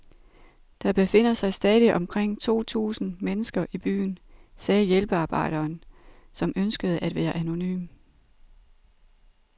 Der befinder sig stadig omkring to tusind mennesker i byen, sagde hjælpearbejderen, som ønskede at være anonym.